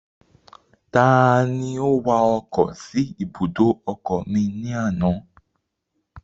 Ta ni ó wa ọkọ̀ sí ibùdó ọkọ̀ mi ní àná?